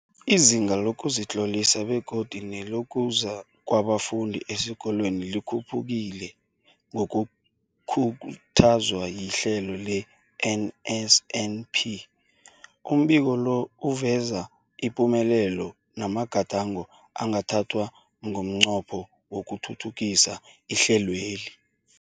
Izinga lokuzitlolisa begodu nelokuza kwabafundi esikolweni likhuphukile ngokukhuthazwa lihlelo le-NSNP. Umbiko lo uveza ipumelelo namagadango angathathwa ngomnqopho wokuthuthukisa ihlelweli.